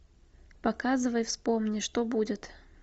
показывай вспомни что будет